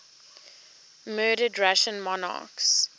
murdered russian monarchs